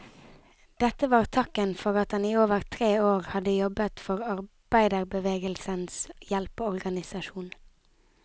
Dette var takken for at han i over tre år hadde jobbet for arbeiderbevegelsens hjelpeorganisasjon.